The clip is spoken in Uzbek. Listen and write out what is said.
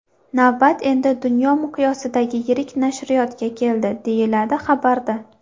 Navbat endi dunyo miqyosidagi yirik nashriyotga keldi”, deyiladi xabarda.